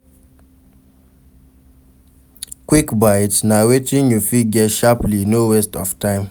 Quick bites na wetin you fit get sharply no waste of time